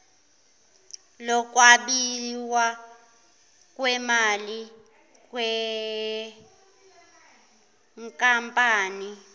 lokwabiwa kwemali yenkampani